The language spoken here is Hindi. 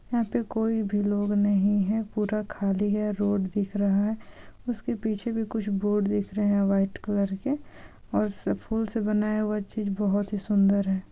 यहाँ पे कोई भी लोग नहीं है पूरा खाली है रोड दिख रहा है उसके पीछे भी कुछ बोर्ड दिख रहे है व्हाइट कलर के और फूल से बनाया हुआ चीज बहुत ही सुंदर है।